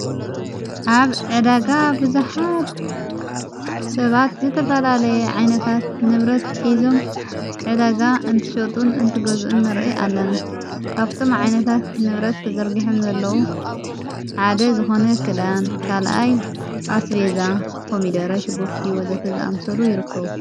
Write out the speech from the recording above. ኣብ ዕዳጋ ብዙኃድ ሰባት ዘተፋላለየ ዓይነታት ንብረት ኂዞም ዕደጋ እንትሸጡን እንትገዝኡኒ ርኢ ኣለና ካብቶም ዓይነታት ንብረት ተዘርጕሐም ዘለዉ ሓደ ዝኾነ ክዳን ካልኣይ ኣስቤዛ ኮሚደረ ሽጉርቲ ወዘተ ዝኣምሰሉ ይርከዉ።